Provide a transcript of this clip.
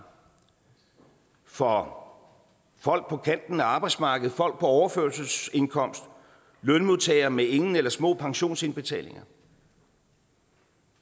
for folk på kanten af arbejdsmarkedet folk på overførselsindkomst lønmodtagere med ingen eller små pensionsindbetalinger